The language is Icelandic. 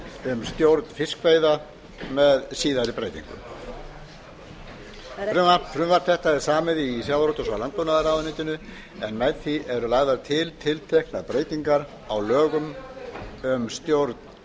um stjórn fiskveiða með síðari breytingum frumvarp þetta er samið í sjávarútvegs og landbúnaðarráðuneytinu en með því eru lagðar til tilteknar breytingar á lögum um stjórn